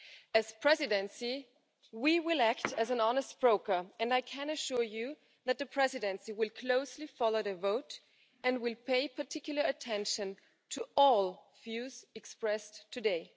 As the Presidency, we will act as an honest broker, and I can assure you that the Presidency will closely follow the vote and will pay particular attention to all views expressed today.